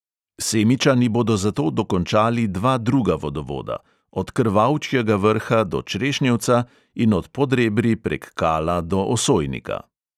Semičani bodo zato dokončali dva druga vodovoda: od krvavčjega vrha do črešnjevca in od podrebri prek kala do osojnika.